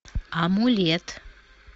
амулет